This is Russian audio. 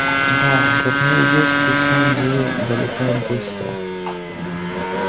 да дурные вести и в самом деле долетают быстро